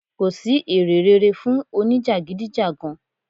Kò sì èrè rere fún òní jagidijagan.